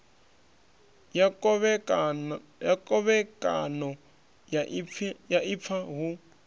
ya khovhekano ya ifa hu